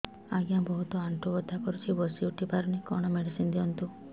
ଆଜ୍ଞା ବହୁତ ଆଣ୍ଠୁ ବଥା କରୁଛି ବସି ଉଠି ପାରୁନି କଣ ମେଡ଼ିସିନ ଦିଅନ୍ତୁ